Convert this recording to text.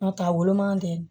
N'o tɛ a woloman tɛ